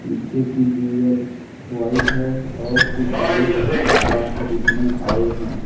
पीछे की दीवाल व्हाईट है और कुछ लोग कपड़ा खरीदने आए है।